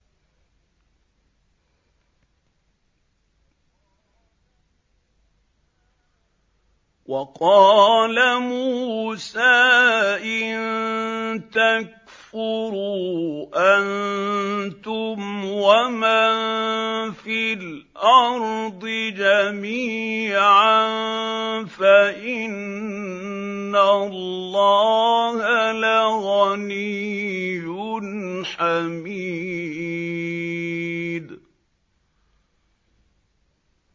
وَقَالَ مُوسَىٰ إِن تَكْفُرُوا أَنتُمْ وَمَن فِي الْأَرْضِ جَمِيعًا فَإِنَّ اللَّهَ لَغَنِيٌّ حَمِيدٌ